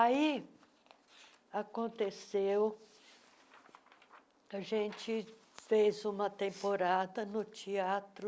Aí, aconteceu... A gente fez uma temporada no teatro